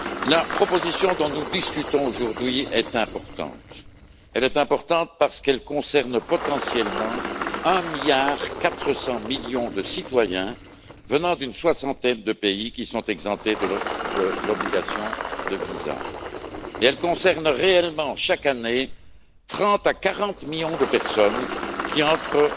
La proposition dont nous discutons aujourd'hui est importante, parce qu'elle concerne potentiellement 1,4 milliard de citoyens venant d'une soixantaine de pays, qui sont exemptés de l'obligation de visa, et elle concerne réellement chaque année 30 à 40 millions de personnes qui entrent